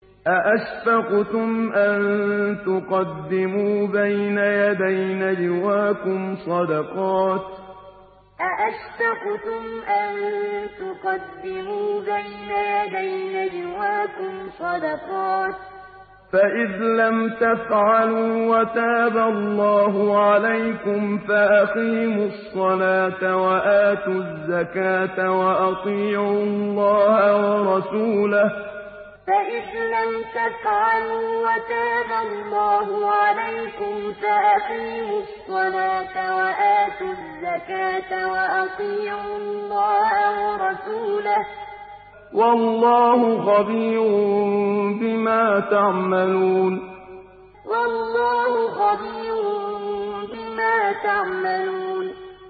أَأَشْفَقْتُمْ أَن تُقَدِّمُوا بَيْنَ يَدَيْ نَجْوَاكُمْ صَدَقَاتٍ ۚ فَإِذْ لَمْ تَفْعَلُوا وَتَابَ اللَّهُ عَلَيْكُمْ فَأَقِيمُوا الصَّلَاةَ وَآتُوا الزَّكَاةَ وَأَطِيعُوا اللَّهَ وَرَسُولَهُ ۚ وَاللَّهُ خَبِيرٌ بِمَا تَعْمَلُونَ أَأَشْفَقْتُمْ أَن تُقَدِّمُوا بَيْنَ يَدَيْ نَجْوَاكُمْ صَدَقَاتٍ ۚ فَإِذْ لَمْ تَفْعَلُوا وَتَابَ اللَّهُ عَلَيْكُمْ فَأَقِيمُوا الصَّلَاةَ وَآتُوا الزَّكَاةَ وَأَطِيعُوا اللَّهَ وَرَسُولَهُ ۚ وَاللَّهُ خَبِيرٌ بِمَا تَعْمَلُونَ